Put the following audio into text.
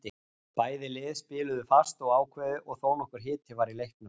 Bæði lið spiluðu fast og ákveðið og þónokkur hiti var í leiknum.